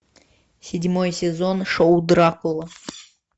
седьмой сезон шоу дракула